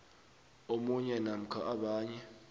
omunye namkha abanye